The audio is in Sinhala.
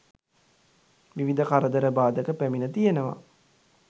විවිධ කරදර බාධක පැමිණ තියෙනවා.